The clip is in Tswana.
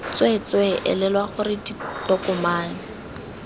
tswee tswee elelwa gore ditokomane